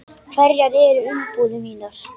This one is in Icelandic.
Hverjar eru umbúðir mínar?